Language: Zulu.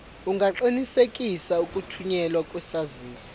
ungaqinisekisa ukuthunyelwa kwesaziso